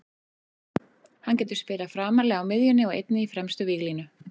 Hann getur spilað framarlega á miðjunni og einnig í fremstu víglínu.